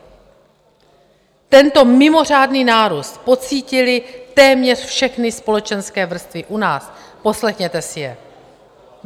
Tento mimořádný nárůst pocítily téměř všechny společenské vrstvy u nás, poslechněte si je.